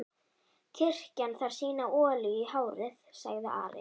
Kirkjan þarf sína olíu í hárið, sagði Ari.